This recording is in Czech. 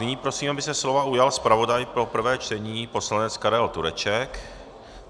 Nyní prosím, aby se slova ujal zpravodaj pro prvé čtení, poslanec Karel Tureček.